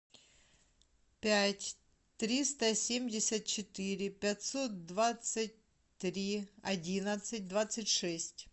пять триста семьдесят четыре пятьсот двадцать три одиннадцать двадцать шесть